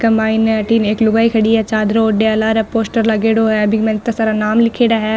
इ के मायने अठीने एक लुगाई खड़ी है चद्दर ओढ़ेया लारे पोस्टर लागेडो है बीके माय इता सारा नाम लिखेड़ा है।